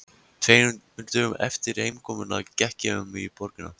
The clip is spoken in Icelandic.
Tveimur dögum eftir heimkomuna gekk ég um borgina.